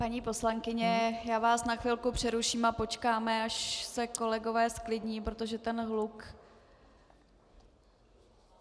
Paní poslankyně, já vás na chvilku přeruším a počkáme až se kolegové zklidní, protože ten hluk...